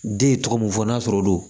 Den ye tɔgɔ mun fɔ n'a sɔrɔ olu don